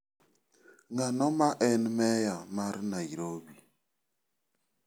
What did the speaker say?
Ng'ano ma en meya mar Nairobi?